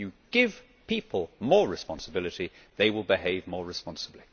If you give people more responsibility, they will behave more responsibly.